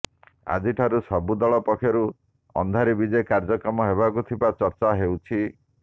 ଆଜିଠାରୁ ସବୁଦଳ ପକ୍ଷରୁ ଅନ୍ଧାରୀ ବିଜେ କାର୍ଯ୍ୟକ୍ରମ ହେବାକୁ ଥିବା ଚର୍ଚ୍ଚା ହେଉଛି